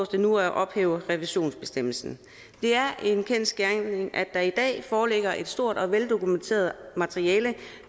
det nu at ophæve revisionsbestemmelsen det er en kendsgerning at der i dag foreligger et stort og veldokumenteret materiale